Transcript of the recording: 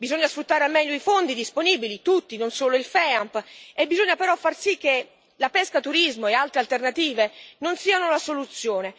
Bisogna sfruttare al meglio i fondi disponibili, tutti, non solo il FEAMP, e bisogna però far sì che la pescaturismo e altre alternative non siano la soluzione.